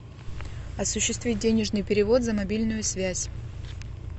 осуществить денежный перевод за мобильную связь